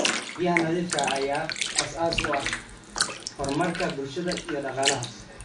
Biyaha nadiifka ah ayaa aasaas u ah horumarka bulshada iyo dhaqaalaha.